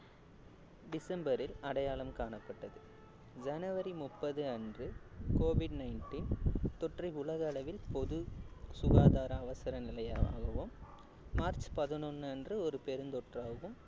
டிசம்பரில் அடையாளம் காணப்பட்டது ஜனவரி முப்பது அன்று covid nineteen தொற்றை உலக அளவில் பொது சுகாதார அவசர நிலையாகவும் மார்ச் பதினொண்ணு அன்று ஒரு பெருந்தொற்றாகும்